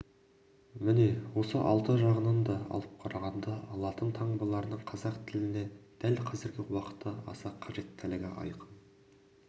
міне осы алты жағынан да алып қарағанда латын таңбаларының қазақ тіліне дәл қазіргі уақытта аса қажеттілігі айқын